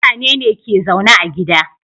Mutane ne ke zaune a gida